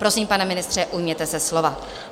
Prosím, pane ministře, ujměte se slova.